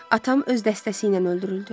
Atam öz dəstəsi ilə öldürüldü.